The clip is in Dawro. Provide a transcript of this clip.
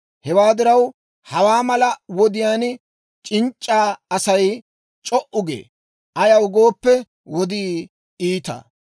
Hewaa diraw, hawaa mala wodiyaan c'inc'c'a Asay c'o"u gee; ayaw gooppe, wodii iita.